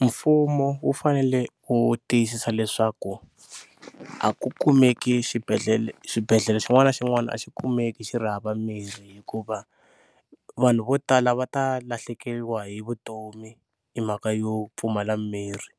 Mfumo wu fanele u tiyisisa leswaku a ku kumeki xibedhle, xibedhlele xin'wana na xin'wana a xi kumeki xi ri hava mirhi hikuva vanhu vo tala va ta lahlekeriwa hi vutomi hi mhaka yo pfumala mimirhi.